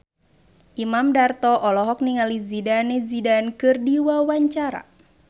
Imam Darto olohok ningali Zidane Zidane keur diwawancara